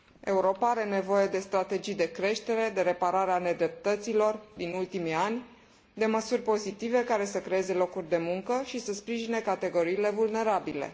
Europa are nevoie de strategii de creștere, de repararea nedreptăților din ultimii ani, de măsuri pozitive care să creeze locuri de muncă și să sprijine categoriile vulnerabile.